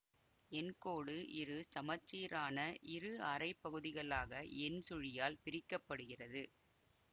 எண்கோடு இரு சமச்சீரான இரு அரைப்பகுதிகளாக எண் சுழியால் பிரிக்க படுகிறது